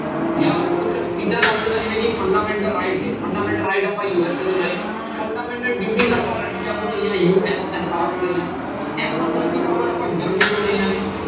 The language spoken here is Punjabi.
ਜਾਂ ਕੁਛ ਚੀਜ਼ਾਂ ਦੱਸ ਦਿਨਾਂ ਜਿਵੇਂ ਕਿ fundamental right ਨੇ fundamental right ਆਪਾਂ US ਤੋਂ ਲਏ fundamental duties ਆਪਾਂ ਰਸੀਆ ਤੋਂ ਲਈਆਂ USSR ਤੋਂ ਲਈਆਂ emergency power ਆਪਾਂ ਜਰਮਨੀ ਤੋਂ ਲਈਆਂ ਨੇ।